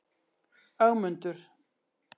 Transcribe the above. Ögmundur